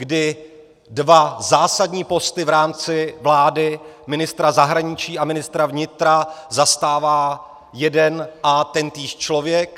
Kdy dva zásadní posty v rámci vlády, ministra zahraničí a ministra vnitra, zastává jeden a tentýž člověk.